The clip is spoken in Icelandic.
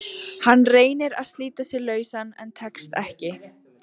Hann reynir að slíta sig lausan en tekst ekki.